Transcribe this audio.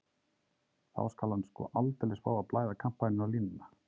Þá skal hann sko aldeilis fá að blæða kampavíni á línuna.